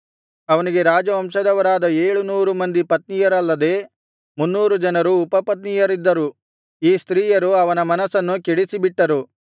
ಅವನಿಗೆ ರಾಜವಂಶದವರಾದ ಏಳುನೂರು ಮಂದಿ ಪತ್ನಿಯರಲ್ಲದೆ ಮುನ್ನೂರು ಜನರು ಉಪಪತ್ನಿಯರಿದ್ದರು ಈ ಸ್ತ್ರೀಯರು ಅವನ ಮನಸ್ಸನ್ನು ಕೆಡಿಸಿಬಿಟ್ಟರು